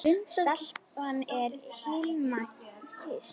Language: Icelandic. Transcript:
Stelpan sem Hilmar kyssti.